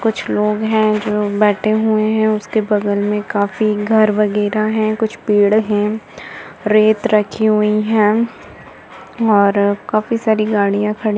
कुछ लोग हैं जो बैठे हुए हैं। उसके बगल में काफी घर वगैरह है। कुछ पेड़ है। रेत रखी हुई है और काफी सारी गाड़िया खड़ी --